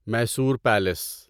Mysore palace